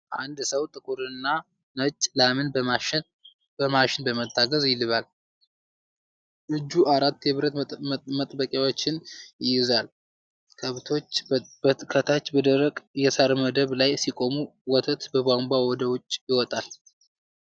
አንድ ሰው ጥቁርና ነጭ ላምን በማሽን በመታገዝ ይልባል። እጁ አራት የብረት መጥበቂያዎችን ይይዛል፤ ከብቶች ከታች በደረቅ የሳር መደብ ላይ ሲቆሙ፣ ወተቱ በቧንቧ ወደ ውጭ ይወጣል።